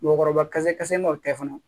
Mɔgɔkɔrɔba kasa kasalen no tɛ fana